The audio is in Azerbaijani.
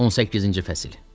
18-ci fəsil.